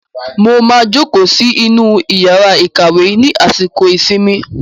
Mo máa jókòó sí inú yàrá ìkàwé ní àsìkò ìsinmi.